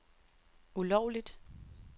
ulovligt